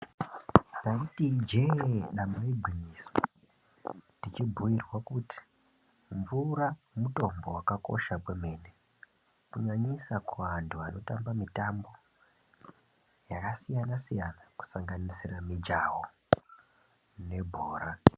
Taito ijee nyamba igwinyiso teibhuirwa kuti mvura mitombo. Mvura yakakosha yaamho kunyanyisa kuvanhu vanoita mitambo yakasiyana siyana inosanganisira mijaho nebhora.